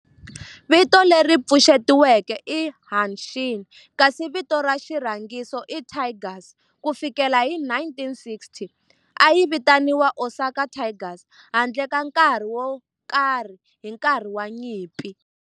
Vito leri pfuxetiweke i"Hanshin" kasi vito ra xirhangiso i"Tigers". Ku fikela hi 1960, a yi vitaniwa Osaka Tigers handle ka nkarhi wo karhi hi nkarhi wa nyimpi.